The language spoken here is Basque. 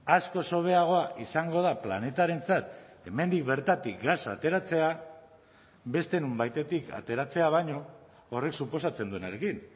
askoz hobeagoa izango da planetarentzat hemendik bertatik gasa ateratzea beste nonbaitetik ateratzea baino horrek suposatzen duenarekin